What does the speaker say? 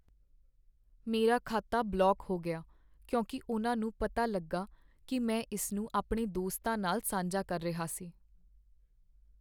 ਮੇਰਾ ਖਾਤਾ ਬਲੌਕ ਹੋ ਗਿਆ ਕਿਉਂਕਿ ਉਹਨਾਂ ਨੂੰ ਪਤਾ ਲੱਗਾ ਕੀ ਮੈਂ ਇਸਨੂੰ ਆਪਣੇ ਦੋਸਤਾਂ ਨਾਲ ਸਾਂਝਾ ਕਰ ਰਿਹਾ ਸੀ।